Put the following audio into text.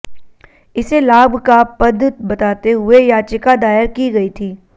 इसे लाभ का पद बताते हुए याचिका दायर की गई थी